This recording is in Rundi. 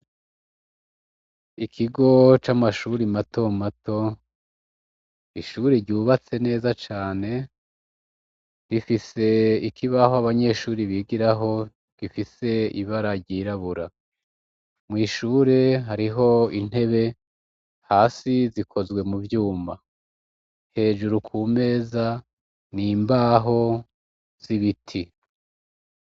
Ikigo c'amashuri mato mato, ishure ryubatse neza cane, rifise ikibaho abanyeshuri bigirako, gifise ibara ryirabura, mw'ishure hariho intebe, hasi zikozwe mu vyumba, hejuru ku meza n'imbaho z'ibiti.